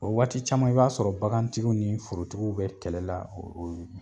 O waati caman i b'a sɔrɔ bagantigiw ni forotigiw be kɛlɛla o o ye